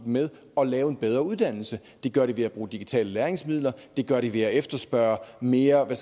med at lave en bedre uddannelse det gør de ved at bruge digitale læringsmidler det gør de ved at efterspørge mere hvad